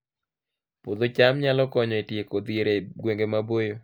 Puodho cham nyalo konyo e tieko dhier e gwenge maboyo